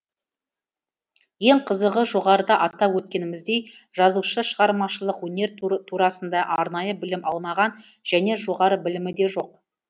ең қызығы жоғарыда атап өткеніміздей жазушы шығармашылық өнер турасында арнайы білім алмаған және жоғары білімі де жоқ